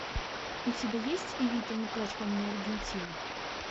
у тебя есть эвита не плачь по мне аргентина